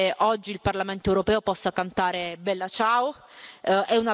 Penso che oggi il Parlamento europeo possa cantare Bella ciao.